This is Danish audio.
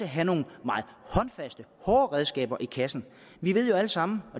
have nogle meget håndfaste hårde redskaber i kassen vi ved jo alle sammen